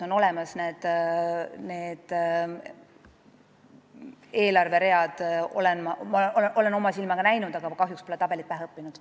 Need eelarveread on absoluutselt olemas, olen neid oma silmaga näinud, aga ma pole kahjuks tabelit pähe õppinud.